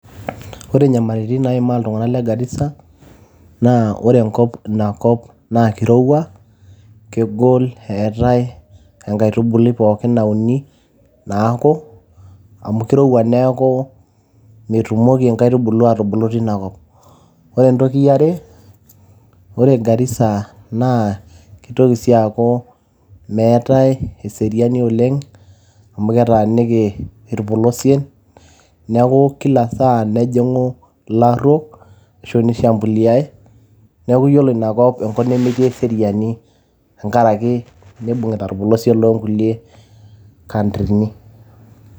Ore inyamalitin naimaa iltung'anak le Garisa naa keirowua inakop eetai enkaitubului pookin nauni amu kirowua neeku metumoki enkaitubului atubulu tina kop. Ore eniare naa ore Garisa naa kitoki sii aaku meetai eseriani oleng' amu eketaaniki irpolosien neeku kila saa nejing'u ilarruok nishambuliaa, neeku ore ina kop naa enkop nemetii eseriani amu ninye naibung'ita irpolosien loonkulie pookin le kulie countries.